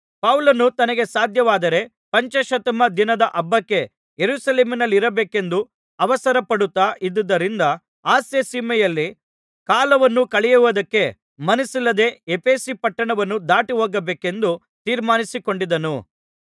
ಪೌಲನು ತನಗೆ ಸಾಧ್ಯವಾದರೆ ಪಂಚಾಶತ್ತಮ ದಿನದ ಹಬ್ಬಕ್ಕೆ ಯೆರೂಸಲೇಮಿನಲ್ಲಿರಬೇಕೆಂದು ಅವಸರಪಡುತ್ತಾ ಇದ್ದುದರಿಂದ ಆಸ್ಯಸೀಮೆಯಲ್ಲಿ ಕಾಲವನ್ನು ಕಳೆಯುವುದಕ್ಕೆ ಮನಸ್ಸಿಲ್ಲದೆ ಎಫೆಸ ಪಟ್ಟಣವನ್ನು ದಾಟಿಹೋಗಬೇಕೆಂದು ತೀರ್ಮಾನಿಸಿಕೊಂಡಿದ್ದನು